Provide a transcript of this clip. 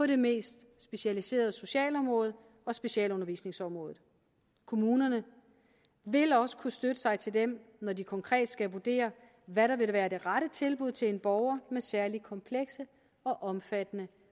det mest specialiserede socialområde og specialundervisningsområdet kommunerne vil også kunne støtte sig til dem når de konkret skal vurdere hvad der vil være det rette tilbud til en borger med særligt komplekse og omfattende